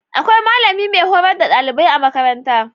Akwai malami mai hurars da ɗalibai a makaranta